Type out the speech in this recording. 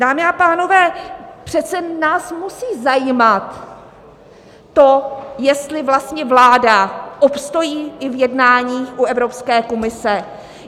Dámy a pánové, přece nás musí zajímat to, jestli vlastně vláda obstojí i v jednání u Evropské komise.